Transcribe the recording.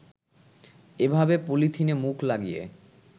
এভাবে পলিথিনে মুখ লাগিয়ে